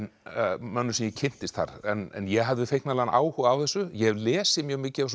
mönnum sem ég kynntist þar en ég hafði áhuga á þessu ég hef lesið mjög mikið